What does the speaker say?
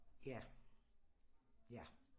Ja ja